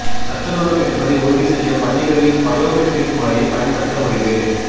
சத்துணவு கிடைப்பதை உறுதி செய்ய பள்ளிகளில் பயோமெட்ரிக் முறையை பயன்படுத்த முடிவு